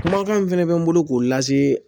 Kumakan min fɛnɛ bɛ n bolo k'o lase